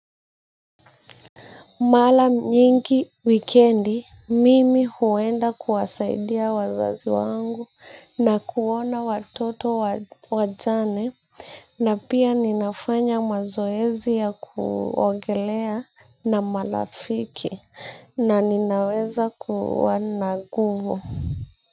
Maa nyingi wikendi mimi huenda kuwasaidia wazazi wangu na kuona watoto wajane na pia ninafanya mazoezi ya kuogelea na marafiki na ninaweza kuwa na nguvu.